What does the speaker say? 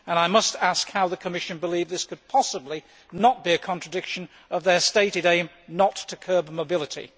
I must ask how the Commission believes this could possibly not be a contradiction of their stated aim not to curb mobility.